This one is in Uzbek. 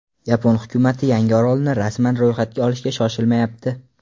Yapon hukumati yangi orolni rasman ro‘yxatga olishga shoshilmayapti.